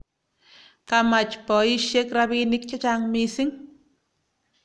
kamach baishek rabinik chechang mising